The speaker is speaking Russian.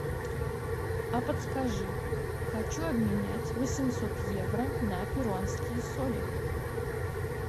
а подскажи хочу обменять восемьсот евро на перуанские соли